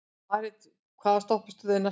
Marit, hvaða stoppistöð er næst mér?